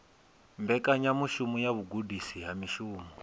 mbekanyamushumo ya vhugudisi ha mushumo